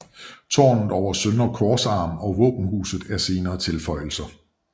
Tårnet over søndre korsarm og våbenhuset er senere tilføjelser